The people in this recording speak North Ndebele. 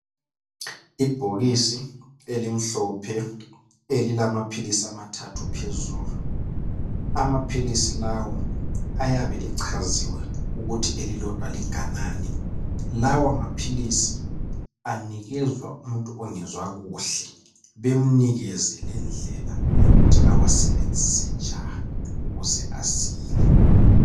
Ibhokisi elimhlophe elilamaphilisi amathathu phezulu amaphilisi lawo ayabe echaziwe ukuthi elilodwa linganani lawa maphilisi aphiwa umuntu ongezwa kuhle bemlayele lendlela ukuthi ewasebenzise njani ukuze asile.